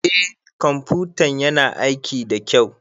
Eh ƙwamfutan yana aiki da kyau.